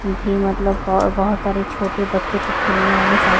भी मतलब बहोत सारे छोटे बच्चों के खेलने वाले साइकिल --